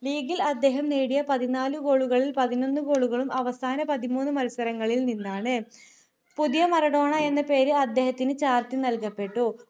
league ൽ അദ്ദേഹം നേടിയ പതിനാല് goal കളിൽ പതിനൊന്നു goal കളും അവസാന പതിമൂന്നു മത്സരങ്ങളിൽ നിന്നാണ് പുതിയ മറഡോണ എന്ന പേര് അദ്ദേഹത്തിന് ചാർത്തി നൽകപ്പെട്ടു